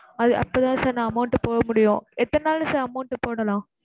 அது அப்ப தான் sir நான் amount போட முடியும், எத்தன நாள்ல sir amount போடலாம்?